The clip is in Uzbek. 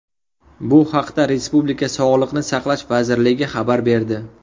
Bu haqda respublika Sog‘liqni saqlash vazirligi xabar berdi .